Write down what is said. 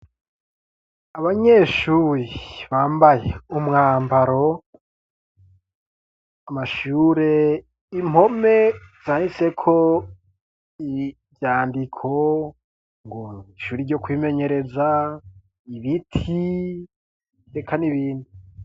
Abanyeshuri bambaye umwambaro, amashure, impome zandiseko ivyandiko, ngo ishuri ryo kwimenyereza, ibiti, eka n'ibindi...